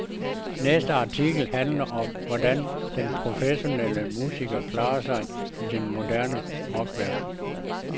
Næste artikel handler om, hvordan den professionelle musiker klarer sig i den moderne rockverden.